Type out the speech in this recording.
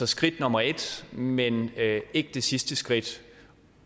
skridt nummer et men ikke det sidste skridt